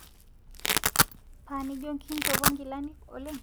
Panijo nkinjopo nkilani oleng